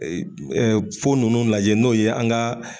Ɛɛ fo nunnu lajɛ n'o ye an ka